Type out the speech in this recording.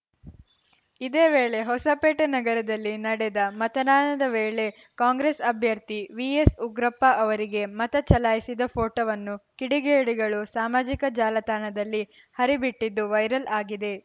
ಇದೇವೇಳೆ ಹೊಸಪೇಟೆ ನಗರದಲ್ಲಿ ನಡೆದ ಮತನಾದನ ವೇಳೆ ಕಾಂಗ್ರೆಸ್‌ ಅಭ್ಯರ್ಥಿ ವಿಎಸ್‌ಉಗ್ರಪ್ಪ ಅವರಿಗೆ ಮತ ಚಲಾಯಿಸಿದ ಫೋಟೋವನ್ನು ಕಿಡಿಗೇಡಿಗಳು ಸಾಮಾಜಿಕ ಚಾಲತಾಣದಲ್ಲಿ ಹರಿಬಿಟ್ಟಿದ್ದು ವೈರಲ್‌ ಆಗಿದೆ